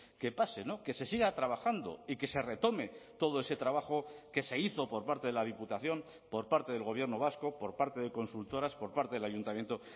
que pase que se siga trabajando y que se retome todo ese trabajo que se hizo por parte de la diputación por parte del gobierno vasco por parte de consultoras por parte del ayuntamiento